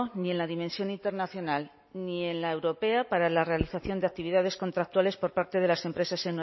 ni en la dimensión internacional ni en la europea para la realización de actividades contractuales por parte de las empresas